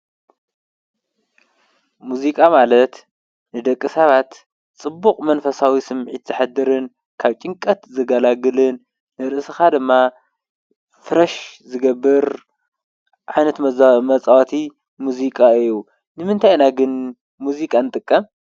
ሙዚቃ ማለት ንደቂ ሰባት ፅቡቕ መንፈሳዊ ስምዒት ዘሕድርን ካብ ጭንቀት ዝገላግለን ንርእስኻ ደማ ፍረሽ ዝገብር ዓይነት መፃወቲ ሙዚቃ እዩ። ንምንታይ ኢና ግን ሙዚቃ ንጥቀም?